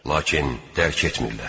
Lakin dərk etmirlər.